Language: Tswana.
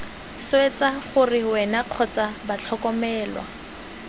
swetsa gore wena kgotsa batlhokomelwa